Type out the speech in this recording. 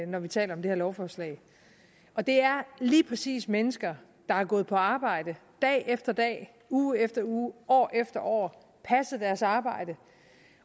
når vi taler om det her lovforslag og det er lige præcis mennesker der har gået på arbejde dag efter dag uge efter uge år efter år som passet deres arbejde